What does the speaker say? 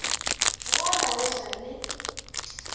go la go ja le